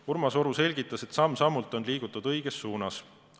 Urmas Oru selgitas, et samm-sammult on liigutud õiges suunas.